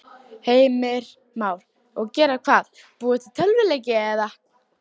Heimir Már: Og gera hvað, búa til tölvuleiki eða?